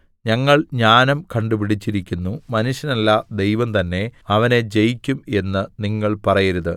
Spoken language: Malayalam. ഞങ്ങൾ ജ്ഞാനം കണ്ടുപിടിച്ചിരിക്കുന്നു മനുഷ്യനല്ല ദൈവം തന്നെ അവനെ ജയിക്കും എന്ന് നിങ്ങൾ പറയരുത്